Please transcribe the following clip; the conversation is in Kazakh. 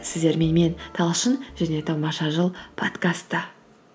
сіздермен мен талшын және тамаша жыл подкасты